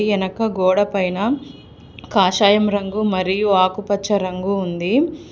ఎనక గోడ పైన కాషాయం రంగు మరియు ఆకుపచ్చ రంగు ఉంది.